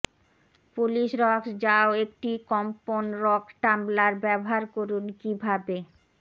Polish rocks যাও একটি কম্পন রক টাম্বলার ব্যবহার করুন কিভাবে